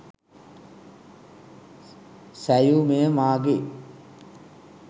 සැයු – මෙය මාගේ